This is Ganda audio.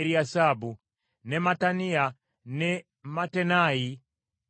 ne Mattaniya, ne Mattenayi, ne Yaasu,